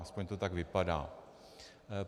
Alespoň to tak vypadá.